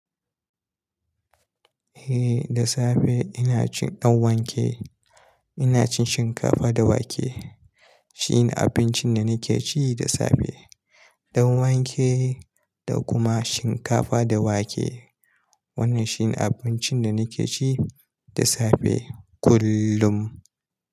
Eh da safe ina cin danwake. Ina cin shinkafa da wake shine abincin da nake ci da safe. Danwake da kuma shinkafa da wake. Wannan shine abincin da nake ci da safe kullum.